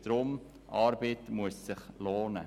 Deshalb muss sich Arbeit lohnen.